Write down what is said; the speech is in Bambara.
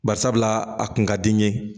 Barisabula a kun ka di n ye